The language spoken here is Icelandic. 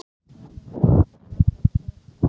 Við erum búin að aka í tvo tíma.